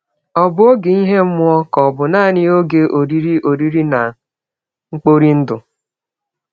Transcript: Ọ̀ bụ ọge ihe mmụọ, ka ọ̀ bụ nanị ọge oriri oriri na mkpori ndụ?